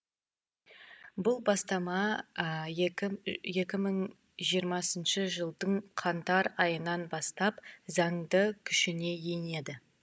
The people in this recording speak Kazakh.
бұл бастама екі мың жиырмасыншы жылдың қаңтар айынан бастап заңды күшіне енеді